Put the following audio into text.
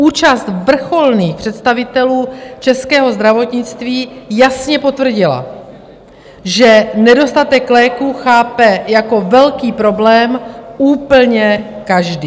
Účast vrcholných představitelů českého zdravotnictví jasně potvrdila, že nedostatek léků chápe jako velký problém úplně každý.